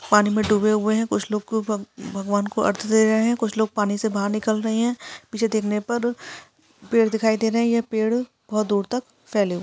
पानी में डुबे हुए है कुछ लोग ऊपर भगवान को अर्ग दे रहे है कुछ लोग पानी से बाहर निकल रहे है पीछे देखने पर पेड़ दिखाई दे रहे है पेड़ बहोत दूर तक फैले हुए--